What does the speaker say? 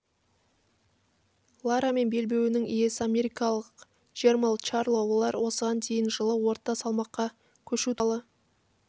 лара мен белбеуінің иесі америкалық джермалл чарло олар осыған дейін жылы орта салмаққа көшу туралы